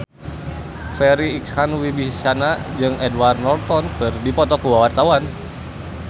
Farri Icksan Wibisana jeung Edward Norton keur dipoto ku wartawan